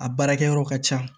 A baarakɛyɔrɔ ka ca